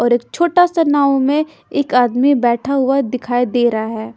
और एक छोटा सा नाव में एक आदमी बैठा हुआ दिखाई दे रहा है।